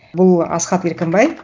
бұл асқат еркінбай